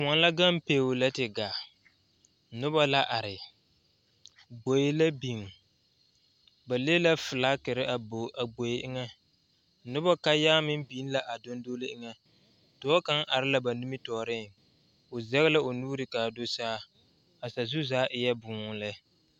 Yie la taa koɔ ka lɔɔpelaa be a koɔ poɔ ka bie do are a lɔre zu kyɛ seɛ kurisɔglaa kyɛ yage o kparoŋ ka teere meŋ are a yie puori seŋ kyɛ ka vūūmie meŋ a wa gaa.